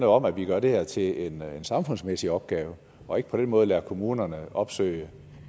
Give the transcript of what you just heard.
om at vi gør det her til en samfundsmæssig opgave og ikke på den måde lader kommunerne opsøge